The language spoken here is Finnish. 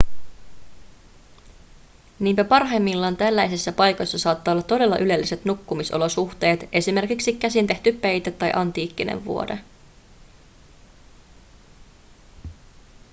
niinpä parhaimmillaan tällaisissa paikoissa saattaa olla todella ylelliset nukkumisolosuhteet esimerkiksi käsintehty peite tai antiikkinen vuode